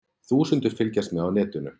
Þúsundir fylgjast með á netinu